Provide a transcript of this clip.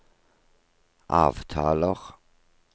avtaler